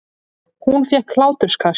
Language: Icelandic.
Hún fékk hláturkast.